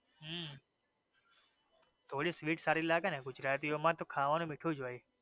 હમ્મ થોડી sweet સારી લાગે ને ગુજરાતી ઓ માં તો ખાવાનું મીઠું જ હોઈ